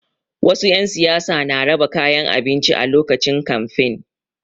Wasu 'yan siyasa na raba kayan abinci a lokacin kamfe.